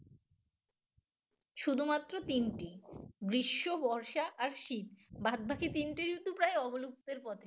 শুধুমাত্র তিনটি গ্রীষ্ম বর্ষা আর শীত বাদবাকি তিনটি ঋতু প্রায় অবলুপ্তের পথে